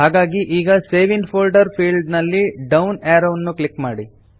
ಹಾಗಾಗಿ ಈಗ save in folder field ನಲ್ಲಿ ಡೌನ್ ಅರೋವ್ ನ್ನು ಕ್ಲಿಕ್ ಮಾಡಿ